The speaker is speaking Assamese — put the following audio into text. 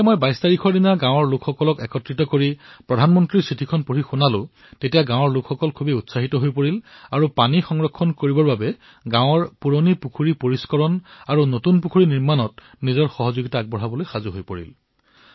যেতিয়া আমি ২২ তাৰিখে গাঁৱৰ বাসিন্দাসকলক একত্ৰিত কৰি প্ৰধানমন্ত্ৰীৰ চিঠি পঢ়ি শুনালো তেতিয়া গাঁৱৰ জনতা উৎসাহিত হৈ পৰিল আৰু পানী সংৰক্ষণৰ বাবে পুখুৰী পৰিষ্কাৰ আৰু নতুন পুখুৰী নিৰ্মাণৰ বাবে শ্ৰমদান কৰি নিজৰ দায়িত্ব পালন কৰিবলৈ প্ৰস্তুত হৈ পৰিল